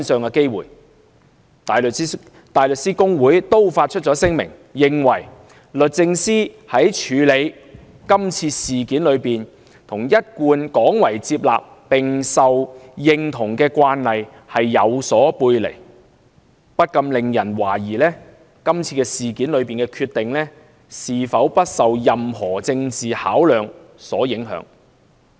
香港大律師公會亦已發出聲明，認為"律政司於處理此事件中與......一貫廣為接納並受認同的慣例有所背離，不禁令人懷疑，是次事件中的決定是否不受任何政治考量所影響"。